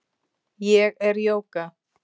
Ég er Jóga.